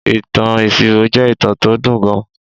Ìtàn ìṣirò jẹ́ ìtàn tó dùn gan